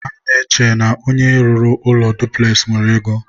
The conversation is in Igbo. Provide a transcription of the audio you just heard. ha na-eche na onye rụrụ ụlọ dupules nwere ego.